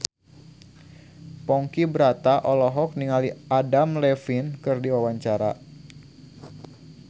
Ponky Brata olohok ningali Adam Levine keur diwawancara